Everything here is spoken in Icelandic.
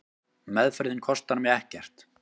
Meðferðin kostar mig ekkert.